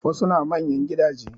Wasu na manyan gidaje